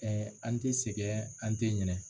an tɛ sɛgɛn an tɛ ɲinɛ.